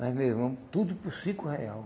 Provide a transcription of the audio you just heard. Mas, meu irmão, tudo por cinco real.